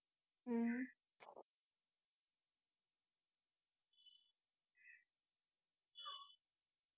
ஹம்